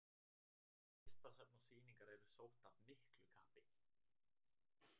Listasöfn og sýningar eru sótt af miklu kappi.